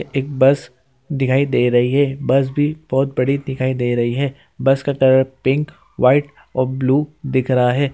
एक बस दिखाई दे रही है बस भी बहुत बड़ी दिखाई दे रही है बस का कलर पिंक व्हाइट और ब्लू दिख रहा है।